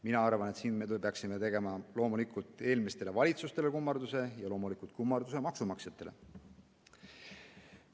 Mina arvan, et siin me peaksime tegema loomulikult eelmistele valitsustele kummarduse ja loomulikult ka kummarduse maksumaksjatele.